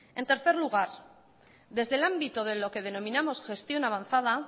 en tercer lugar desde el ámbito de lo que denominamos gestión avanzada